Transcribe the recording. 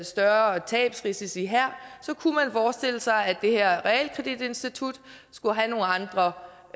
større tabsrisici her forestille sig at det her realkreditinstitut skulle have nogle andre